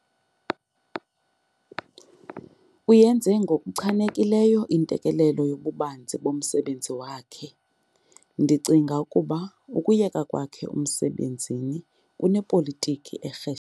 Uyienze ngokuchanekileyo intelekelelo yobubanzi bomsebenzi wakhe. ndicinga ukuba ukuyeka kwakhe emsebenzini kunepolitiki erhe